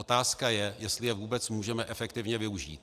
Otázka je, jestli je vůbec můžeme efektivně využít.